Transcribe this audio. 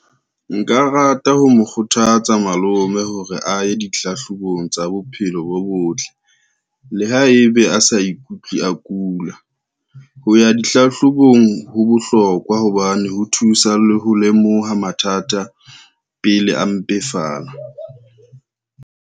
Nka rata ho mo kgothatsa malome hore a ye dihlahlobong tsa bophelo bo botle le haebe a sa a ikutlwe a kula. Ho ya dihlahlobong ho bohlokwa hobane ho thusa le ho lemoha mathata pele a mpefala.